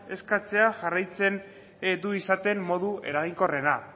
eskatzea jarraitzen du izaten modu eraginkorrena